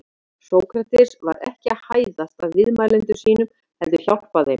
Sókrates var ekki að hæðast að viðmælendum sínum heldur hjálpa þeim.